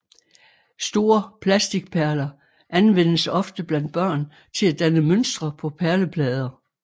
Store plasticperler anvendes ofte blandt børn til at danne mønstre på perleplader